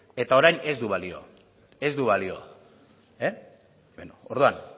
eta orain ez du balio orduan